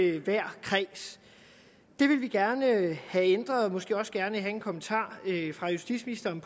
i hver kreds det vil vi gerne have ændret og måske også gerne have en kommentar fra justitsministeren